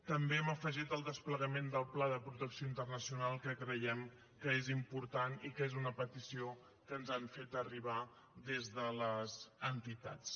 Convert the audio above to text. també hem afegit el desplegament del pla de protecció internacional que creiem que és important i que és una petició que ens han fet arribar des de les entitats